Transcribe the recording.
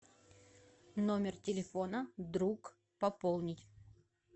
номер телефона друг пополнить